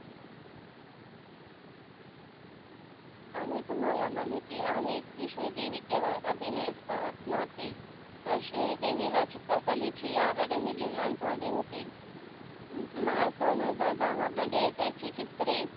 आणि तुम्हाला माहीती आहे की श्रीदेवी केवळ अभिनय च करत नव्हती, तर श्रीदेवीला चित्रकलेची आवडी निर्माण झाली होती. मार्च दोन हजार मध्ये त्यांची चित्रे